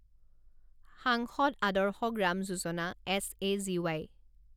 সাংসদ আদৰ্শ গ্ৰাম যোজনা এছ এ জি ৱাই